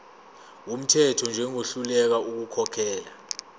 wumthetho njengohluleka ukukhokhela